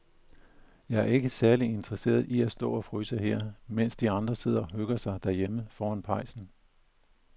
Jeg er ikke særlig interesseret i at stå og fryse her, mens de andre sidder og hygger sig derhjemme foran pejsen.